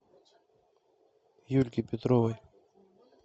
юльки петровой